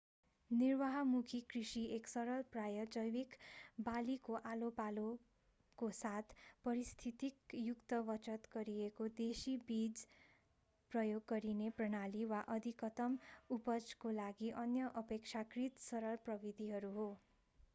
निर्वाहमुखी कृषि एक सरल प्राय जैवीक बालीको आलोपालोको साथ पारिस्थितिक युक्त बचत गरिएको देशी बीज प्रयोग गरिने प्रणाली वा अधिकतम उपजको लागि अन्य अपेक्षाकृत सरल प्रविधिहरू हो